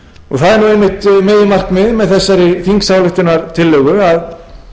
það er einmitt meginmarkmiðið með þessari þingsályktunartillögu að